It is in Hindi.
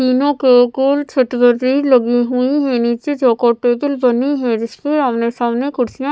तीनों के लगी हुईं हैं नीचे चौकोर टेबल बनी है जिसके आमने सामने कुर्सियाँ --